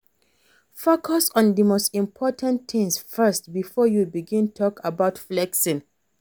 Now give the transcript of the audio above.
Focus on di most important things first before you begin talk about flexing